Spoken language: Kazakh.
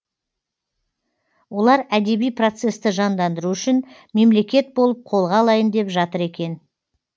олар әдеби процесті жандандыру үшін мемлекет болып қолға алайын деп жатыр екен